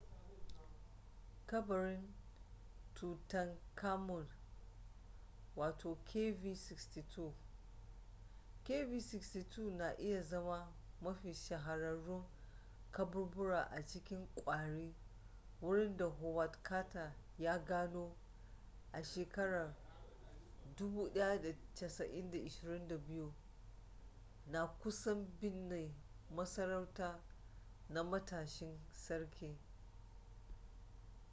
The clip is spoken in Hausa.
kabarin tutankhamun kv62. kv62 na iya zama mafi shahararrun kaburbura a cikin kwari wurin da howard carter ya gano 1922 na kusan binne masarauta na matashin sarki